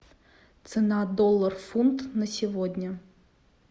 цена доллар фунт на сегодня